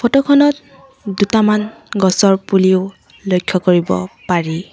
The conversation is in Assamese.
ফটো খনত দুটামান গছৰ পুলিও লক্ষ্য কৰিব পাৰি।